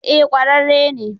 Eh ƙwararre ne.